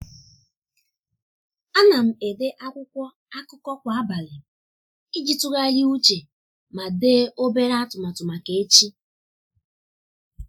a na m ede akwụkwọ akụkọ kwa abalị iji tụgharịa uche ma dee obere atụmatụ maka echi.